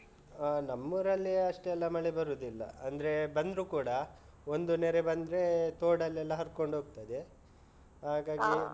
ಹಾ ನಮ್ಮೂರಲ್ಲಿ ಅಷ್ಟೆಲ್ಲ ಮಳೆ ಬರುದಿಲ್ಲ ಅಂದ್ರೆ ಬಂದ್ರು ಕೂಡ ಒಂದು ನೆರೆ ಬಂದ್ರೆ ತೊಡಲ್ಲೆಲ್ಲ ಹರ್ಕೊಂಡ್ ಹೋಗ್ತದೆ ಹಾಗಾಗಿ